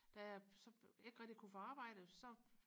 da jeg så ikke rigtig kunne få arbejde så